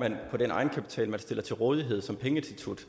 man på den egenkapital man stiller til rådighed som pengeinstitut